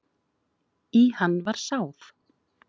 Í hann var sáð.